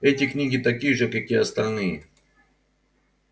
эти книги такие же как и остальные